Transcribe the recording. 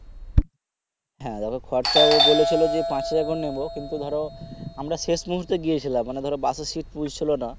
হ্যাঁ দেখো খরচাও বলেছিলো যে পাঁচ হাজার করে নিবো কিন্তু ধরো আমরা শেষ মূহর্তে গিয়েছিলাম মানে ধরো বাসের seat ফুল ছিলো না